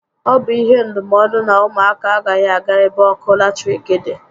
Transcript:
Ọ bụ ihe ndụmọdụ na ụmụ aka agaghị aga ebe ọkụ latiriki dị